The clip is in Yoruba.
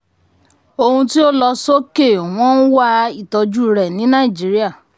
ohun tí o lọ sókè wọ́n ń wá ìtọ́jú rẹ̀ ní nàìjíríà.